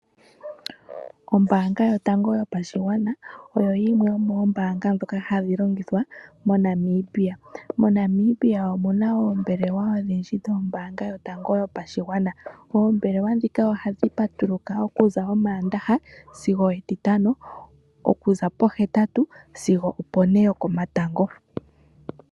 Ombanga yotango yopashigwana oyo yimwe yomombanga ndhoka hadhi longithwa moNamibia. MoNamibia omuna oombelewa odhindji dhombanga yotango yopashigwana, oombelewa ndhika ohadhi patuluka okuza omandaha sigo etitano okuza po hetatu sigo opone yoko matango.